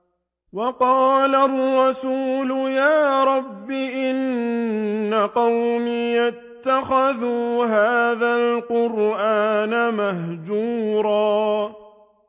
وَقَالَ الرَّسُولُ يَا رَبِّ إِنَّ قَوْمِي اتَّخَذُوا هَٰذَا الْقُرْآنَ مَهْجُورًا